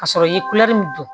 Ka sɔrɔ i ye min don